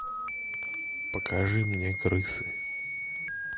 покажи мне крысы